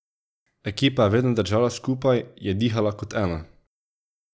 Ekipa je vedno držala skupaj, je dihala kot eno.